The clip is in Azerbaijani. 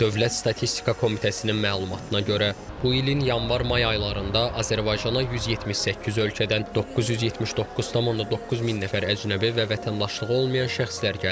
Dövlət Statistika Komitəsinin məlumatına görə, bu ilin yanvar-may aylarında Azərbaycana 178 ölkədən 979,9 min nəfər əcnəbi və vətəndaşlığı olmayan şəxslər gəlib.